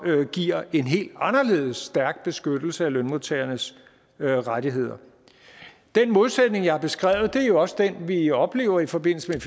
giver en helt anderledes stærk beskyttelse af lønmodtagernes rettigheder den modsætning jeg har beskrevet er jo også den vi oplever i forbindelse